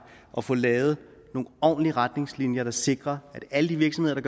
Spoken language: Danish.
og få lavet nogle ordentlige retningslinjer der sikrer at alle de virksomheder